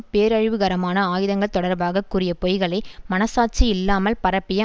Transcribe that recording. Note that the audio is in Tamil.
பேரழிவுகரமான ஆயுதங்கள் தொடர்பாக கூறிய பொய்களை மனசாட்சியில்லாமல் பரப்பிய